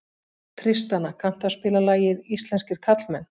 Tristana, kanntu að spila lagið „Íslenskir karlmenn“?